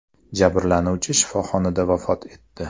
Jabrlanuvchi shifoxonada vafot etdi.